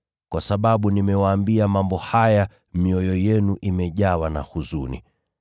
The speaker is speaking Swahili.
Kwa sababu nimewaambia mambo haya, mioyo yenu imejawa na huzuni.